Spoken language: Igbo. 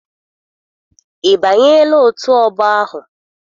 Ị banyela otù ọgbọ ahụ?